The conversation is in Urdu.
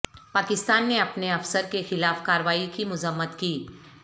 پاکستان نے اپنے افسر کے خلاف کارروائی کی مذمت کی